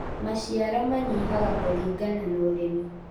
Maciaro manyihaga kũlingana na ũrĩmi